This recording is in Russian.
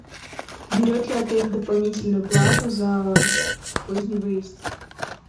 берет ли отель дополнительную плату за поздний выезд